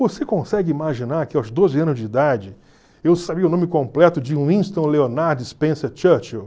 Você consegue imaginar que aos doze anos de idade eu sabia o nome completo de Winston Leonard Spencer Churchill?